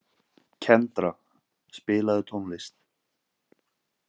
Kendra, spilaðu tónlist.